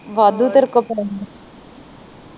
ਵਾਦੁ ਤੇਰੇ ਕੋਲ ਪੈਸੇ